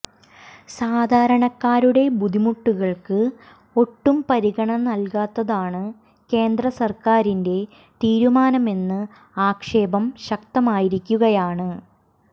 സാധാരണക്കാരുടെ ബുദ്ധിമുട്ടുകള്ക്ക് ഒട്ടും പരിഗണന നല്കാത്തതാണ് കേന്ദ്രസര്ക്കാറിന്റെ തീരുമാനമെന്ന ആക്ഷേപം ശക്തമായിരിക്കുകയാണ്